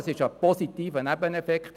Das ist ein positiver Nebeneffekt.